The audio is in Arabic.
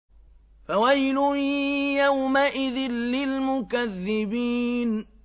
فَوَيْلٌ يَوْمَئِذٍ لِّلْمُكَذِّبِينَ